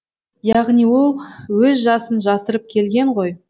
яғни ол өз жасын жасырып келген ғой